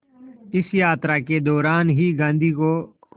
इस यात्रा के दौरान ही गांधी को